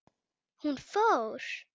Hún fór.